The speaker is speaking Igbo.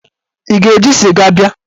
Ị ga-eji sịga bịa?